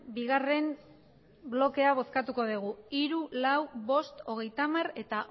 bigarren blokea bozkatuko dugu hiru lau bost hogeitamar eta